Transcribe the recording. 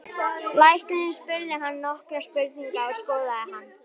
Læknirinn spurði hann nokkurra spurninga og skoðaði hann.